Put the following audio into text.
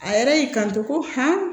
A yɛrɛ y'i kanto ko